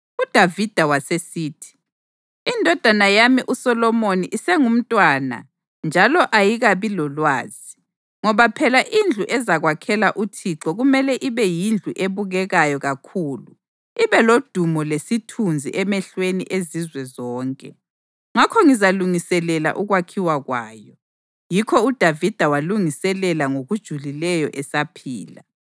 UDavida wasesithi, “Indodana yami uSolomoni isengumntwana njalo ayikabi lolwazi, ngoba phela indlu ezakwakhelwa uThixo kumele ibe yindlu ebukekayo kakhulu ibe lodumo lesithunzi emehlweni ezizwe zonke. Ngakho ngizalungiselela ukwakhiwa kwayo.” Yikho uDavida walungiselela ngokujulileyo esaphila.